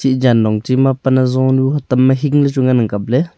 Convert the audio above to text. e jan longnong chi ma pan hajonu hutam ma hi hi chu ngan ang kap ley.